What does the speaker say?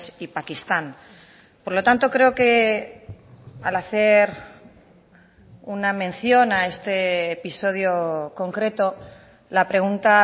y pakistán por lo tanto creo que al hacer una mención a este episodio concreto la pregunta